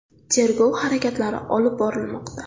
Tergov harakatlari olib borilmoqda.